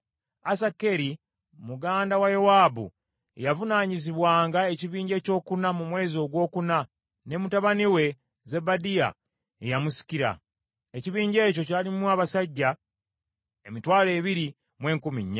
Asakeri muganda wa Yowaabu ye yavunaanyizibwanga ekibinja ekyokuna mu mwezi ogwokuna, era mutabani we Zebadiya ye yamusikira. Ekibinja ekyo kyalimu abasajja emitwalo ebiri mu enkumi nnya.